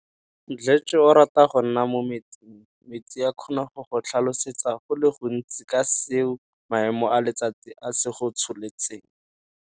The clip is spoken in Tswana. Mdletshe o rata go nna mo metsing. Metsi a kgona go go tlhalosetsa go le gontsi ka seo maemo a letsatsi a se go tsholetseng.